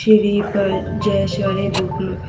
श्री पर जयसवारी बुक ली--